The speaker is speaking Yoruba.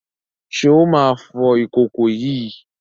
Ṣé ó máa fọ ìkòkò yìí?